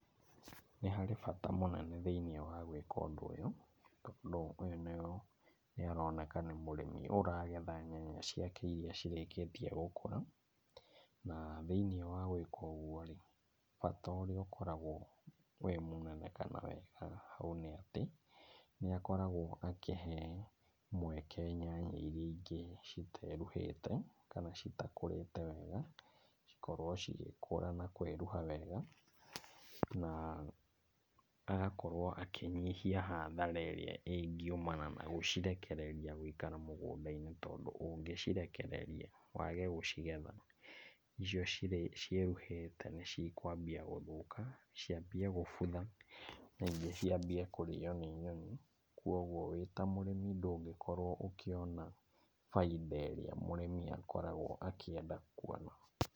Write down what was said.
Nĩ harĩ bata mũnene thĩinĩ wa gwĩka ũndũ ũyũ tondũ ũyũ, nĩ aroneka nĩ mũrĩmi ũragetha nyanya ciake iria cirĩkĩtie gũkũra. Na thĩiniĩ wa gwĩka ũguo rĩ, bata ũrĩa ũkoragwo wĩ mũnene kana wĩkaga ũũ nĩ atĩ, nĩ akoragwo akĩhe mweke nyanya iria ingĩ citeruhĩte kana citakũrĩte wega ikorwo cigĩkũra na kwĩruha wega. Na agakorwo akĩnyihia hathara ĩrĩa ĩngiumana na gũcirekereria gũikara mũgũnda-inĩ tondũ ũngĩ cirekereria wage gũcigetha icio ciĩruhĩte nĩ cikwambia gũthũka, ciambie gũbutha na ingĩ ciambie kũrĩo nĩ nyoni. Koguo wĩ ta mũrĩmi ndũngĩkorwo ũkĩona, bainda ĩrĩa mũrĩmi, akoragwo akĩenda kuona.